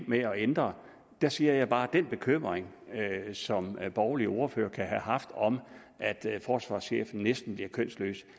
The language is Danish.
med at ændre siger jeg bare at den bekymring som borgerlige ordførere kan have haft om at forsvarschefen næsten bliver kønsløs